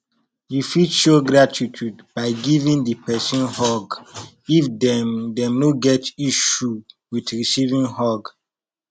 you fit show gratitude by giving di person hug if dem dem no get issue with recieving hug